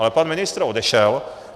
Ale pan ministr odešel.